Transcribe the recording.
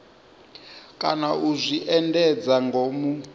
kana u zwi endedza ngomu